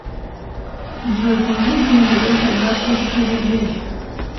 джой положи деньги леша брат тысячу рублей